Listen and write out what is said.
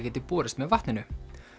geti borist með vatninu